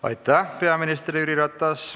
Aitäh, peaminister Jüri Ratas!